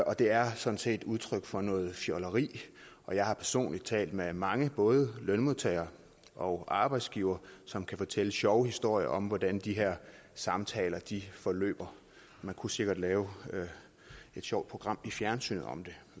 og det er sådan set udtryk for noget fjolleri jeg har personligt talt med mange både lønmodtagere og arbejdsgivere som kan fortælle sjove historier om hvordan de her samtaler forløber man kunne sikkert lave et sjovt program i fjernsynet om det